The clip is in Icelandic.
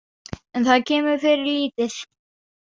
En það kemur fyrir lítið.